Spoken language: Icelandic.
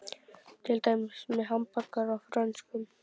Til dæmis með hamborgara og frönskum.